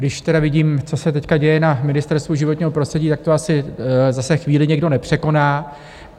Když tedy vidím, co se teď děje na Ministerstvu životního prostředí, tak to asi zase chvíli někdo nepřekoná.